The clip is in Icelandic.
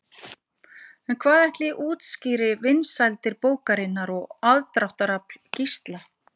En hvað ætli útskýri vinsældir bókarinnar og aðdráttarafl Gísla?